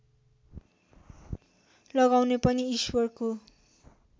लगाउने पनि ईश्वरको